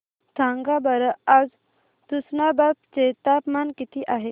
सांगा बरं आज तुष्णाबाद चे तापमान किती आहे